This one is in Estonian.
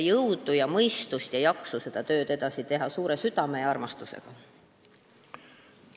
Jõudu, mõistust ja jaksu teile, selleks et seda tööd suure südame ja armastusega edasi teha!